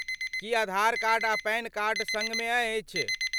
की Aadhaar card आ PAN card सङ्गमे अछि?